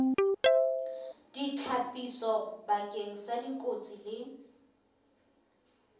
ditlhapiso bakeng sa dikotsi le